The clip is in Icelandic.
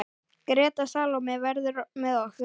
Greta Salóme verður með okkur.